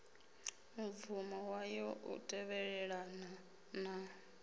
mubvumo wayo u tevhelelana na